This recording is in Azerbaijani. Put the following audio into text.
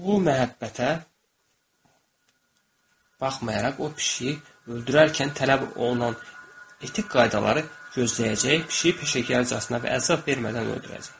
Bu məhəbbətə baxmayaraq o pişiyi öldürərkən tələb olunan etik qaydaları gözləyəcək, pişiyi peşəkarcasına və əzab vermədən öldürəcək.